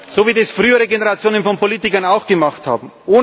So, wie das frühere Generationen von Politikern auch gemacht haben.